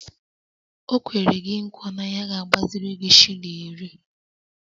O kwere gi nkwa na ya ga-agbaziri gi shilling iri